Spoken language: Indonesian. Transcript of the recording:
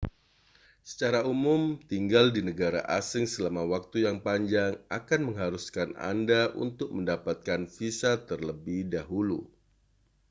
secara umum tinggal di negara asing selama waktu yang panjang akan mengharuskan anda untuk mendapatkan visa terlebih dahulu